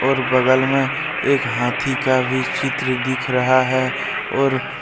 और बगल में एक हाथी का भी चित्र दिख रहा है और--